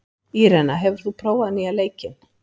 Írena, hefur þú prófað nýja leikinn?